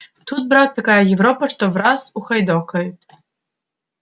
тут брат такая европа что враз ухайдокают